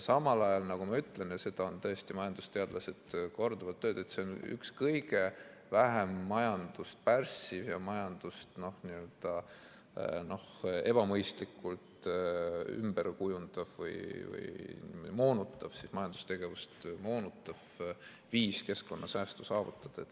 Samal ajal, nagu ma ütlesin – ja seda on majandusteadlased korduvalt öelnud –, see on üks kõige vähem majandust pärssiv ja majandust ebamõistlikult ümberkujundav või majandustegevust moonutav viis keskkonnasäästu saavutada.